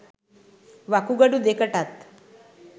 වකුගඩු දෙකටත්